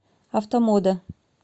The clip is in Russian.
автомода